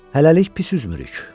Hələlik pis üzmürük.